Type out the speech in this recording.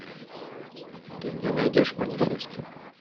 ты мне найдешь манифест